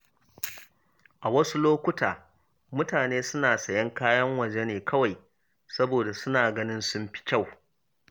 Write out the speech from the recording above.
A wasu lokuta, mutane suna sayen kayan waje ne kawai saboda suna ganin sun fi kyau.